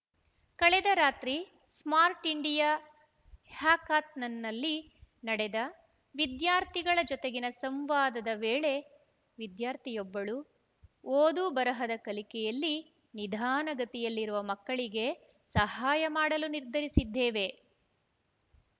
ಕಳೆದ ರಾತ್ರಿ smart India ಹ್ಯಾಕಾಥಾನ್‌ನಲ್ಲಿ ನಡೆದ ವಿದ್ಯಾರ್ಥಿಗಳ ಜೊತೆಗಿನ ಸಂವಾದದ ವೇಳೆ ವಿದ್ಯಾರ್ಥಿಯೊಬ್ಬಳು ಓದುಬರಹದ ಕಲಿಕೆಯಲ್ಲಿ ನಿಧಾನಗತಿಯಲ್ಲಿರುವ ಮಕ್ಕಳಿಗೆ ಸಹಾಯ ಮಾಡಲು ನಿರ್ಧರಿಸಿದ್ದೇವೆ